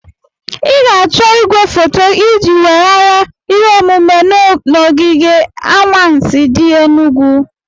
Ị ga-achọ igwefoto iji weghara ihe omume na ogige anwansi di enugu.